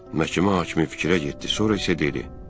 Məhkəmə hakimi fikrə getdi, sonra isə dedi: